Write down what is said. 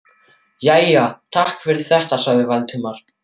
Jæja, takk fyrir þetta sagði Valdimar.